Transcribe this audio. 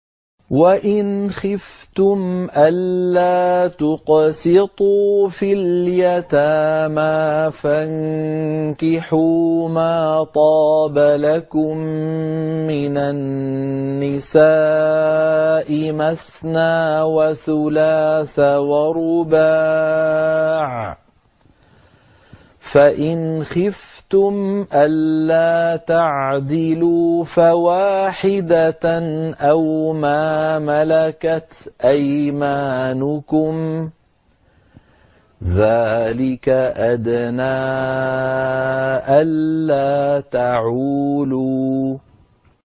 وَإِنْ خِفْتُمْ أَلَّا تُقْسِطُوا فِي الْيَتَامَىٰ فَانكِحُوا مَا طَابَ لَكُم مِّنَ النِّسَاءِ مَثْنَىٰ وَثُلَاثَ وَرُبَاعَ ۖ فَإِنْ خِفْتُمْ أَلَّا تَعْدِلُوا فَوَاحِدَةً أَوْ مَا مَلَكَتْ أَيْمَانُكُمْ ۚ ذَٰلِكَ أَدْنَىٰ أَلَّا تَعُولُوا